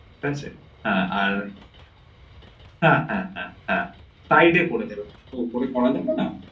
ঠিক আছে হা আর হা হা হা হা হা side এ করে দেবেন উপরে করা যাবে না ঠিক আছে